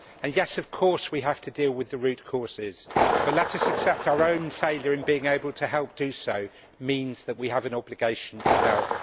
And yes, of course we have to deal with the root causes, but let us accept that our own failure in being able to help do so means that we have an obligation to help.